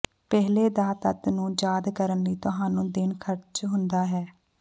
ਪਹਿਲੇ ਦਾ ਤੱਤ ਨੂੰ ਯਾਦ ਕਰਨ ਲਈ ਤੁਹਾਨੂੰ ਦਿਨ ਖਰਚ ਹੁੰਦਾ ਹੈ